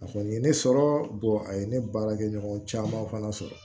A kɔni ye ne sɔrɔ a ye ne baarakɛ ɲɔgɔn caman fana sɔrɔ